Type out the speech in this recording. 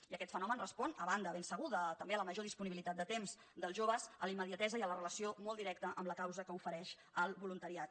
i aquest fenomen respon a banda ben segur de també la major disponibilitat de temps dels joves a la immediatesa i a la relació molt directa amb la causa que ofereix el voluntariat